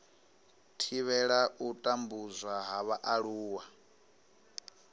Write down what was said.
thivhela u tambudzwa ha vhaaluwa